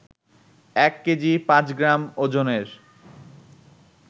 এক কেজি পাঁচ গ্রাম ওজনের